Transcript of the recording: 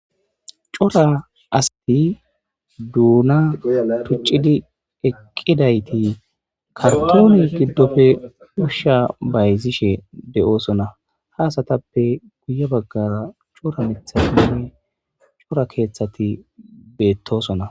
Cora asati duna tucidi eqidayti kartonne gidoppe Usha bayzishe de'eosona ha asatape guye bagara Cora mithatinne cora kethati betosona